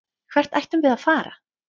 Hvert ættum við að fara?